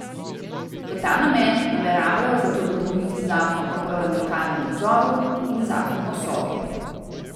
V ta namen nameravajo zato dopolniti zakon o parlamentarnem nadzoru in zakon o Sovi.